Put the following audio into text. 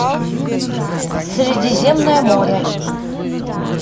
средиземное море